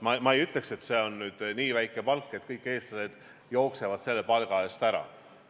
Ma ei ütleks, et see on nüüd nii väike palk, et kõik eestlased jooksevad selle palga eest ära.